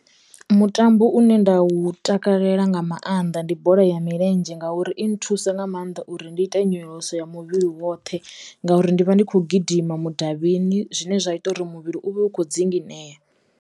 Mutambo une nda u takalela nga maanḓa ndi bola ya milenzhe ngauri i nthusa nga mannḓa uri ndi ite nyonyoloso ya muvhili woṱhe ngauri ndi vha ndi kho gidima mudavhini zwine zwa ita uri muvhili u vhe ukho dzinginea.